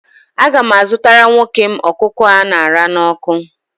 Aga m azụtara nwoke m ọkụkọ a ṅara n'ọkụ